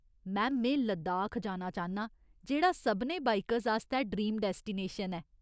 Ma'am, में लद्दाख जाना चाह्न्नां, जेह्ड़ा सभनें बाइकर्स आस्तै ड्रीम डैस्टिनेशन ऐ।